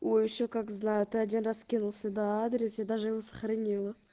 ой ещё как знаю ты один раз скинул сюда адрес я даже его сохранила